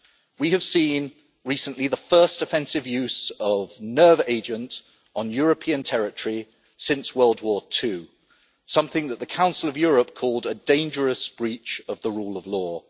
We have seen recently the first offensive use of nerve agent on European territory since World War II, something that the Council of Europe called a dangerous breach of the rule of law'.